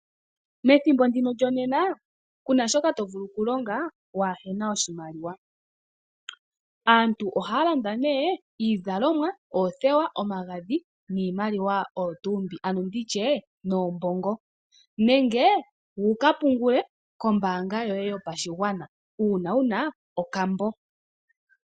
Methimbo ndino lyonena ku na shoka to vulu okulonga waahe na oshimaliwa. Aantu ohaya landa nduno iizalomwa, oothewa, omagadhi niimaliwa oyo tuu mbi, ano ndi tye noombongo nenge wu ka pungule kombaanga yoye yopashigwana uuna wu na okambo.